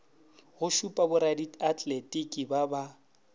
go šupa boradiatletiki ba ba